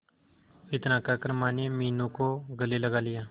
इतना कहकर माने मीनू को गले लगा लिया